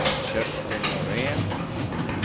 Kerstin Norén